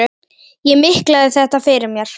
Ég miklaði þetta fyrir mér.